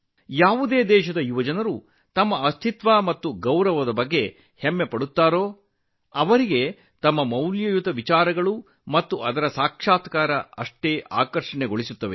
ಯಾವುದೇ ದೇಶದ ಯುವಕರು ತಮ್ಮ ಗುರುತು ಮತ್ತು ಗೌರವದ ಬಗ್ಗೆ ಹೆಚ್ಚು ಹೆಮ್ಮೆಪಡುತ್ತಾರೆ ಅವರ ಮೂಲ ಕಲ್ಪನೆಗಳು ಮತ್ತು ತತ್ವಗಳು ಅವರನ್ನು ಹೆಚ್ಚು ಆಕರ್ಷಿಸುತ್ತವೆ